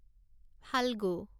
Phalgu